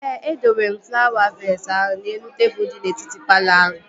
Ee, e dowere m flawa vees ahụ n'elu tebụl di n'etiti palọ ahụ